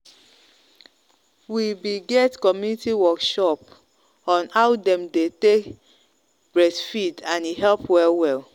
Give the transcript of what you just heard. we be get community workshop on how them dey take breastfeed and e help well well.